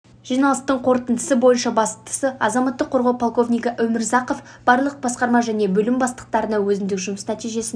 жиналыстың қорытындысы бойынша бастығы азаматтық қорғау полковнигі өмірзақов барлық басқарма және бөлім бастықтарына өзінің жұмыс нәтижесін